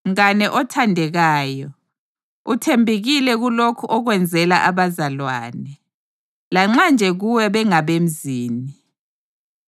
Mngane othandekayo, uthembekile kulokho okwenzela abazalwane, lanxa nje kuwe bengabemzini.